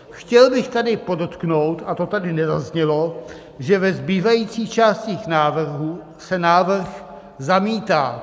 Chtěl bych tady podotknout, a to tady nezaznělo, že ve zbývajících částech návrhů se návrh zamítá.